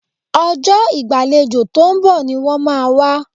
Ọjọ́ ìgbàlejò tó ń bọ̀ ni wọ́n máa wá